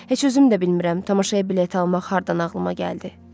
Heç özüm də bilmirəm tamaşaya bilet almaq hardan ağlıma gəldi.